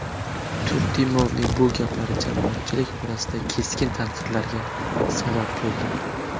Turdimovning bu gaplari jamoatchilik orasida keskin tanqidlarga sabab bo‘ldi.